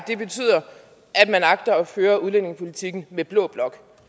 man agter at føre udlændingepolitikken med blå blok